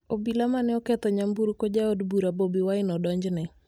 Obila mane oketho nyamburko ja od bura Bobi Wine odonjne